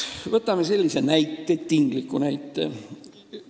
Võtame tingliku näite.